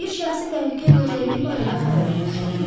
Bir şəxsi təhlükə gözlədiyi barədə xəbər almışdım.